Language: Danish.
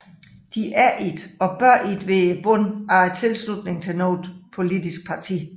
De er ikke og bør ikke være bunden af tilslutning til noget politisk parti